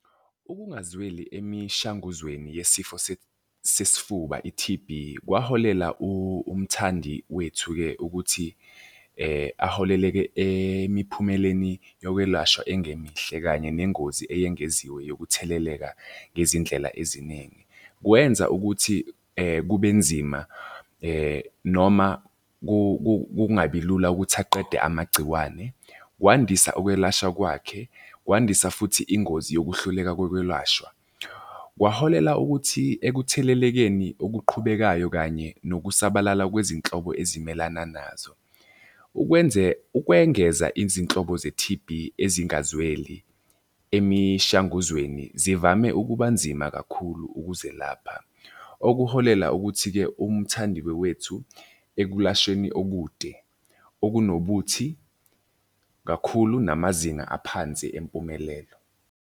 Ukungazweli emishanguzweni yesifo sesifuba i-T_B kwaholela umthandi wethu-ke ukuthi aholeleke emiphumeleni yokwelashwa engemihle kanye nengozi eyengeziwe yokutheleleka ngezindlela eziningi. Kwenza ukuthi kube nzima noma kungabi lula ukuthi aqede amagciwane. Kwandisa ukwelashwa kwakhe, kwandisa futhi ingozi yokuhluleka kokwelashwa. Kwaholela ukuthi ekuthelelekeni okuqhubekayo kanye nokusabalala kwezinhlobo ezimelana nazo. Ukwengeza izinhlobo ze-T_B ezingazweli emishanguzweni zivame ukuba nzima kakhulu ukuzelapha. Okuholela ukuthi-ke umthandi-ke wethu ekulashweni okude, okunobuthi kakhulu, namazinga aphansi empumelelo.